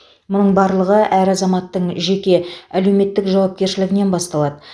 мұның барлығы әр азаматтың жеке әлеуметтік жауапкершілігінен басталады